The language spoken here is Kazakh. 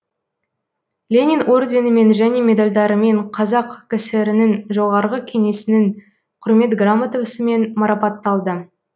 ленин орденімен және медальдарімен қазақ кср нің жоғарғы кеңесінің құрмет грамотасымен марапатталды